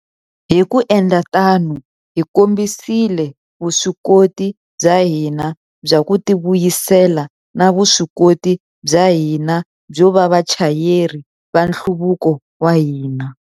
Hi ku endla tano, hi kombisile vuswikoti bya hina bya ku tivuyisela na vuswikoti bya hina byo va vachayeri va nhluvuko wa hina.